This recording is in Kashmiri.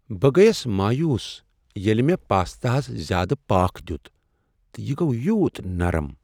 بہٕ گٔیس مایوٗس ییٚلہ مےٚ پاستاہس زیادٕ پاكھ دِیُت تہٕ یہ گوٚو یِوٗت نرم ۔